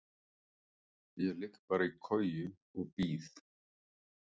Ég ligg bara í koju og bíð.